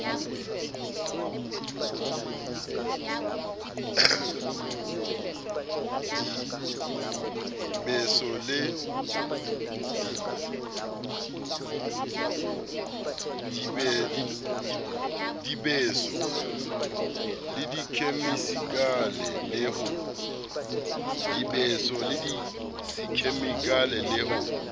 dibeso le dikhemikale le ho